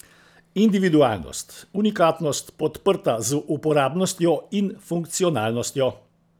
Individualnost, unikatnost, podprta z uporabnostjo in funkcionalnostjo.